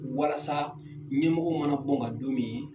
Walasa ɲɛmɔgɔw mana bɔ n kan don min.